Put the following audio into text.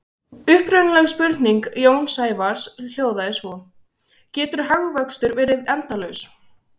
Upprunaleg spurning Jóns Sævars hljóðaði svo: Getur hagvöxtur verið endalaus?